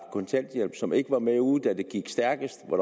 kontanthjælp som ikke var med ude da det gik stærkest hvor